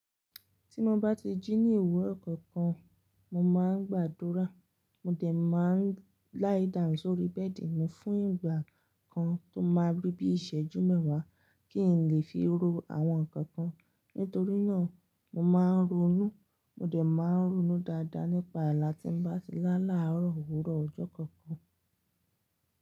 Tí mo bá ti jí ní owúro kankan, mo má ń gbàdúrà, mo dẹ̀ má ń lie down sórí bed mi fún ìgbà kan tó máa rí bí i ìṣẹ́jú mẹ́wàá kí n lè fi ro àwọn nǹkan kan. Nítorínà, mo má a ń ronú, mo dẹ̀ má a ń ronú dáadáa nípa àlà tí n bá ti lá làárọ̀ òwúrọ̀ ọjọ́ kankan.